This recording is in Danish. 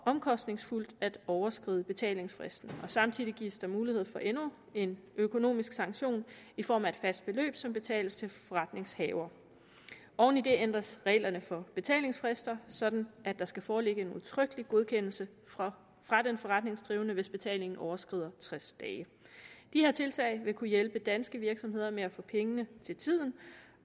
omkostningsfuldt at overskride betalingsfristen samtidig gives der mulighed for endnu en økonomisk sanktion i form af et fast beløb som betales til forretningshaveren oven i det ændres reglerne for betalingsfrister sådan at der skal foreligge en udtrykkelig godkendelse fra den forretningsdrivende hvis betalingen skal overskride tres dage de her tiltag vil kunne hjælpe danske virksomheder med at få pengene til tiden